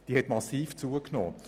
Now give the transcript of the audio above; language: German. Diese hat massiv zugenommen.